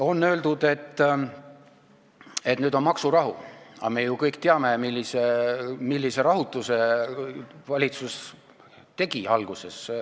On öeldud, et nüüd on maksurahu, aga me ju kõik teame, millise rahutuse valitsus põhjustas alguses.